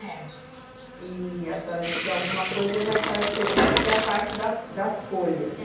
É. E a senhora diz que alguma coisa já faz diferente, que é a parte da das folhas, é.